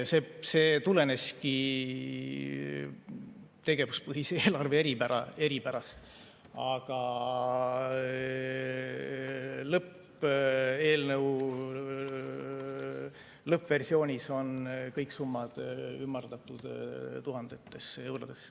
See tuleneski tegevuspõhise eelarve eripärast, aga eelnõu lõppversioonis on kõik summad ümardatud tuhandetesse eurodesse.